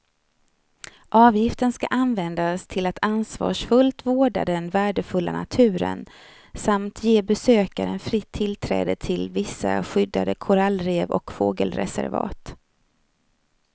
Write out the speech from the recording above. Avgiften ska användas till att ansvarsfullt vårda den värdefulla naturen samt ge besökaren fritt tillträde till vissa skyddade korallrev och fågelreservat.